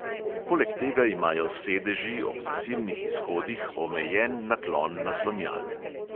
Poleg tega imajo sedeži ob zasilnih izhodih omejen naklon naslonjal.